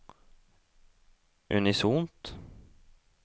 unisont